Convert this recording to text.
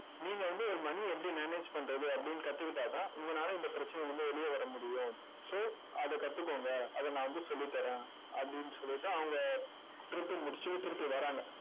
நீங்க வந்து ஒரு money எப்படி manage பண்றது அப்படின்னு கத்துக்கிட்டாதான் உங்கனால இந்த பிரச்சனையில இருந்து வெளிய வர முடியும். so அதை கத்துக்கோங்க, அதை நான் வந்து சொல்லித் தர்றேன். அப்படின்னு சொல்லிட்டு அவங்க திருப்பி முடிச்சு திருப்பி வர்றாங்க